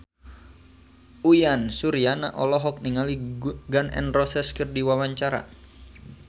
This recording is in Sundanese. Uyan Suryana olohok ningali Gun N Roses keur diwawancara